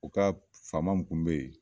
O ka faama mun kun be yen